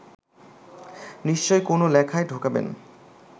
নিশ্চয়ই কোনো লেখায় ঢোকাবেন